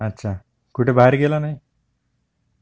अच्छा, कुठे बाहेर गेला नाही?